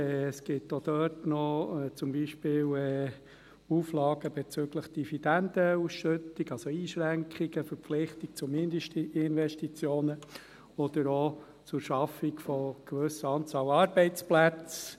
Es gibt auch dort noch Auflagen zum Beispiel bezüglich Dividendenausschüttung – also Einschränkungen, Verpflichtung zu Mindestinvestitionen – oder auch zur Schaffung einer gewissen Anzahl Arbeitsplätze.